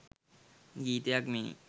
ගීතයක් මෙනි.